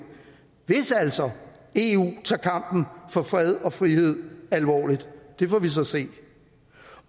hvis altså eu tager kampen for fred og frihed alvorligt det får vi så se